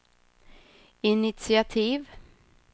initiativ